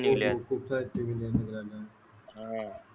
निगल्या हो हो खूप सारे सीरिअल निगल्या अं